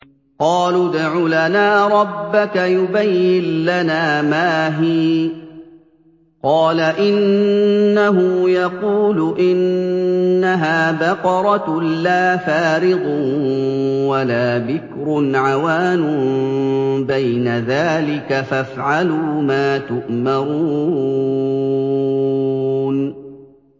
قَالُوا ادْعُ لَنَا رَبَّكَ يُبَيِّن لَّنَا مَا هِيَ ۚ قَالَ إِنَّهُ يَقُولُ إِنَّهَا بَقَرَةٌ لَّا فَارِضٌ وَلَا بِكْرٌ عَوَانٌ بَيْنَ ذَٰلِكَ ۖ فَافْعَلُوا مَا تُؤْمَرُونَ